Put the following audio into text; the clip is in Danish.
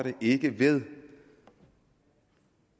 ikke ved